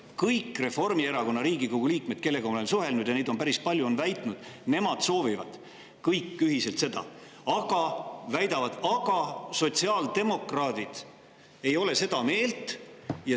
Kõik Reformierakonna Riigikogu liikmed, kellega ma olen suhelnud – ja neid on päris palju –, on väitnud, et nemad kõik ühiselt seda soovivad, aga nad väidavad, et sotsiaaldemokraadid ei ole seda meelt.